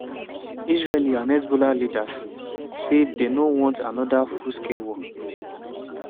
israeli and hezbollah leaders say dey no want anoda full-scale war.